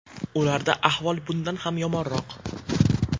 Ularda ahvol bundan ham yomonroq.